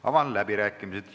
Avan läbirääkimised.